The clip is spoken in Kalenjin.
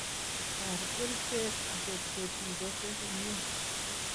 Taar kercheek akot kotii kose komyee